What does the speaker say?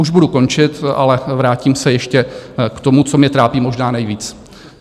Už budu končit, ale vrátím se ještě k tomu, co mě trápí možná nejvíc.